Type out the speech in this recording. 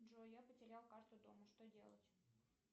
джой я потеряла карту дома что делать